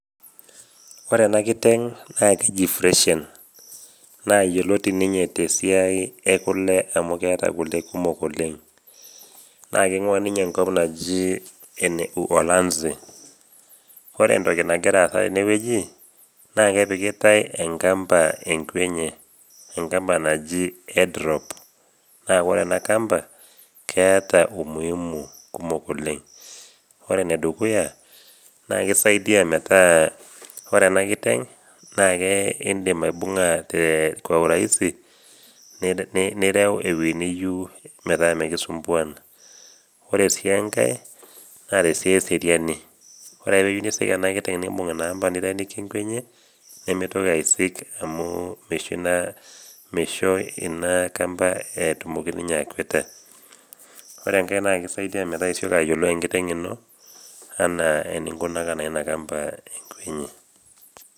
Ore ena kiteng' naa keji Fresian, naa yioloti ninye te siai e kule amu keeta kule kumok oleng', naa keing'uaa ninye enkop naji ene Uholanzi. Ore entoki nagira aasa tenewueji naa, epikitai enkampa enkwe enye, enkampa naji head rope, naa ore ena kampa, keata umuhimu kumok oleng'. Ore ene dukuya, naa keisaidia metaa ore ena kiteng' indim aibung'a te kwa urahisi nireu ewuji niyou metaa ekisumpuaan. Ore sii enkai naa te siai eseriani, ore ake pee eyou neisik ena kiteng' nimbung' ina kampa niteenikia enkwe enye, nemeitoki aisik, amu meisho ina kampa etumoki ninye akweta. Ore enkai naa keisaidia metaa isioki ayiolou enkiteng' ino anaa eninkunaka naa ina kampa enkwe enye.